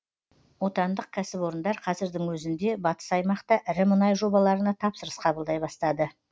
отандық кәсіпорындар қазірдің өзінде батыс аймақта ірі мұнай жобаларына тапсырыс қабылдай бастады